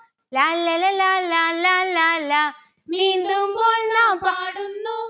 ലാല്ലല ലാലാ ലാലാ ലാ. നീന്തുമ്പോൾ നാം പാടുന്നു